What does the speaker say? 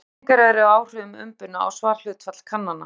Ýmsar skýringar eru á áhrifum umbunar á svarhlutfall kannana.